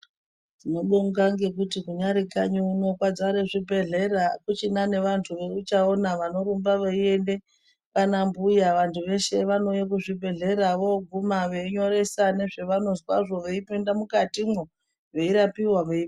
Tinobonga ngekuti kunyari kanyi uno kwadzare zvibhehleya hakuchina nevantu vouchaona vanorumba veiende kwaanambuya vantu veshe vanouya kuzvibhehleya vooguma veinyoresa nezvavanozwazvo veipinda mukatimwo veirapiwa ..........